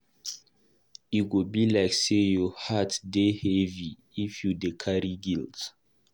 E go be like sey your heart dey heavy if you dey carry guilt.